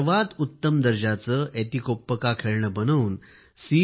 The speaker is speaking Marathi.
सर्वात उत्तम दर्जाचे एतिकोप्पका खेळणे बनवून सी